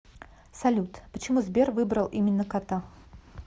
салют почему сбер выбрал именно кота